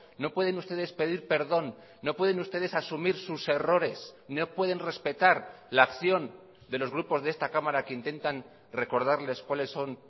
no pueden ustedes pedir perdón no pueden ustedes asumir sus errores no pueden respetar la acción de los grupos de esta cámara que intentan recordarles cuáles son